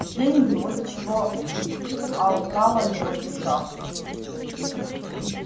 деньги вот чего алкала его душа